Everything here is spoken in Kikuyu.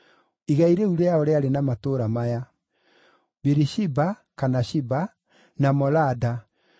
Igai rĩu rĩao rĩarĩ na matũũra maya: Birishiba (kana Shiba), na Molada,